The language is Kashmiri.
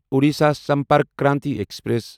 اوڈیشا سمپرک کرانتی ایکسپریس